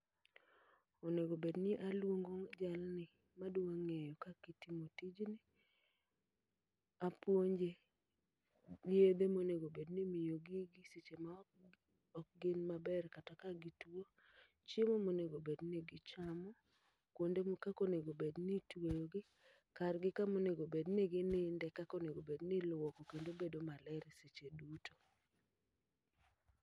Onego bedni aluongo jalni madwa ng'eyo kakitiyo tijni, apuonje gi yedhe monego bedni imiyo gigi e seche ma ok gin maber kata ka gituo. Chiemo monego bedni gichamo, kuonde ma kakonego bedni itweyo gi, kargi kamonego bedni gininde kako nego bedni iluoko kendo bedo maler e seche duto.